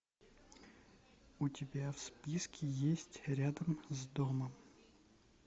у тебя в списке есть рядом с домом